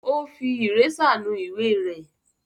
Ó fi ìrésà nu ìwé rẹ̀.